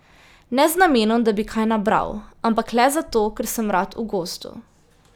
Ne z namenom, da bi kaj nabral, ampak le zato, ker sem rad v gozdu.